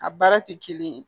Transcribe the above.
A baara tɛ kelen ye